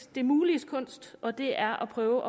det muliges kunst og det er at prøve